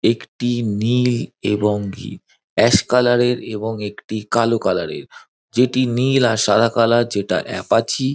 একটি নীল এবং ভি অ্যাশ কালারের এবং একটি কালো কালার -এর। যেটি নীল আর সাদা কালার যেটা এপাচি--